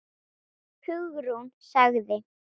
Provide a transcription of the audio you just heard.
Hugrún sagði